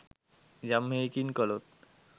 යම් හෙයකින් කළොත්